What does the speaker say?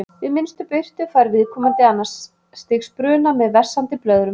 Við minnstu birtu fær viðkomandi annars stigs bruna með vessandi blöðrum.